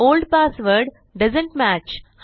old password doesn't match